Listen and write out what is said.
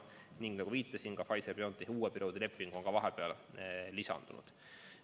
Ning nagu viitasin, Pfizer/BioNTechi uue perioodi leping on ka vahepeal lisandunud.